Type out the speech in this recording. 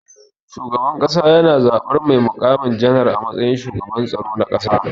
Shugaban kasa yana zaban mai mukami janar a matsayin shugaban tsaro na ƙasa.